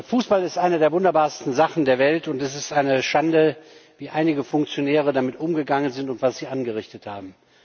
Fußball ist eine der wunderbarsten Sachen der Welt, und es ist eine Schande, wie einige Funktionäre damit umgegangen sind und was sie angerichtet haben.